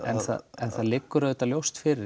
en það en það liggur auðvitað ljóst fyrir